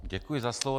Děkuji za slovo.